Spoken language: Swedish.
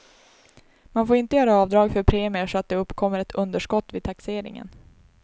Man får inte göra avdrag för premier så att det uppkommer ett underskott vid taxeringen.